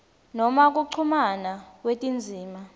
noma kuchumana kwetindzima